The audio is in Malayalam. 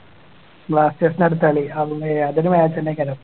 balsters ൻ്റെ അടുത്ത കളി അതും അഹ് അതൊരു match തന്നെ